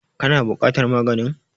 Ka na buƙatar maganin?